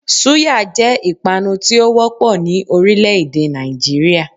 Súyà jé ìpanu tí ó wópò ní orílè èdè Nàìjíríà